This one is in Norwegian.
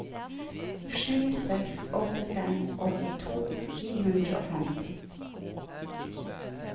sju seks åtte fem åttito ni hundre og femti